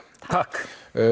takk